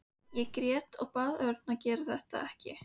Ég grét og bað Örn að gera þetta ekki.